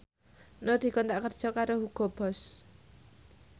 Nur dikontrak kerja karo Hugo Boss